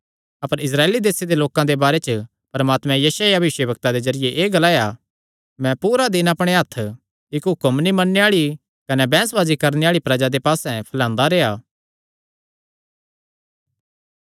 अपर Israel देसे दे लोकां दे बारे च परमात्मे यशायाह भविष्यवक्ता दे जरिये एह़ ग्लाया मैं पूरा दिन अपणे हत्थ इक्क हुक्म नीं मन्नणे आल़ी कने बैंह्सबाजी करणे आल़ी प्रजा दे पास्से फैलांदा रेह्आ